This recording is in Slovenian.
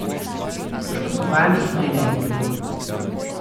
Poškodovanih naj ne bi bilo.